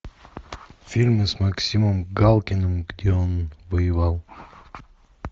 фильмы с максимом галкиным где он воевал